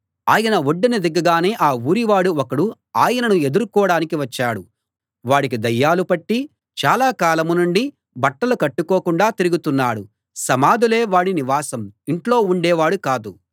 ఆయన ఒడ్డున దిగగానే ఆ ఊరి వాడు ఒకడు ఆయనను ఎదుర్కోడానికి వచ్చాడు వాడికి దయ్యాలు పట్టి చాలా కాలం నుండి బట్టలు కట్టుకోకుండా తిరుగుతున్నాడు సమాధులే వాడి నివాసం ఇంట్లో ఉండేవాడు కాదు